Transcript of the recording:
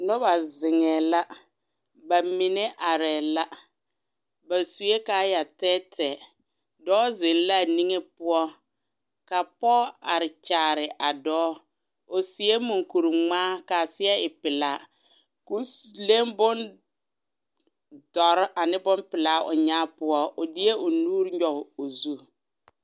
Noba zeŋɛɛ la bamine are la ba sue kaayaa tɛɛtɛɛ dɔɔ zeŋ la a niŋe poɔ ka pɔge are kyaare a dɔɔ o seɛ maŋkuri ŋmaa ka a seɛ e pelaa k'o leŋ bone dɔɔre ane bone pelaa o nyaa poɔ o deɛ o nuuri nyɔge o zu